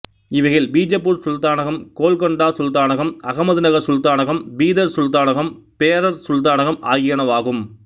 இவைகள் பிஜப்பூர் சுல்தானகம் கோல்கொண்டா சுல்தானகம் அகமதுநகர் சுல்தானகம் பீதர் சுல்தானகம் பேரர் சுல்தானகம் ஆகியனவாகும்